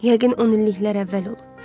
Yəqin 10 illiklər əvvəl olub.